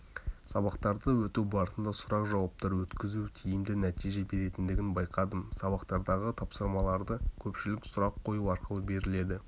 сабақтарды өту барысында сұрақ-жауаптар өткізу тиімді нәтиже беретіндігін байқадым сабақтардағы тапсырмалардың көпшілігі сұрақ қою арқылы беріледі